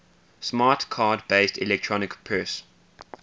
smart card based electronic purse